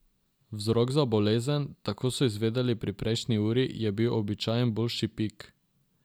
Vzrok za bolezen, tako so izvedeli pri prejšnji uri, je bil običajen bolšji pik.